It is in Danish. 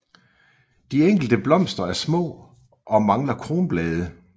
De enkelte blomster er små og mangler kronblade